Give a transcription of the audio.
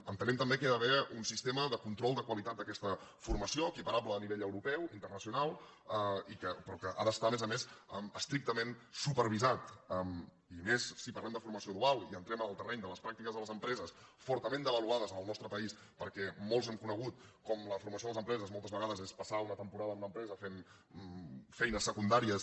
entenem també que hi ha d’haver un sistema de control de qualitat d’aquesta formació equiparable a nivell europeu internacional però que ha d’estar a més a més estrictament supervisat i més si parlem de formació dual i entrem en el terreny de les pràctiques a les empreses fortament devaluades en el nostre país perquè molts hem conegut com la formació a les empreses moltes vegades és passar una temporada en una empresa fent feines secundàries